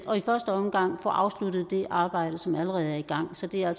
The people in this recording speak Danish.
og i første omgang få afsluttet det arbejde som allerede er i gang så det er